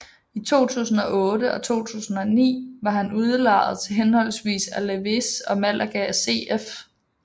I 2008 og 2009 var han udlejet til henholdsvis Alavés og Málaga CF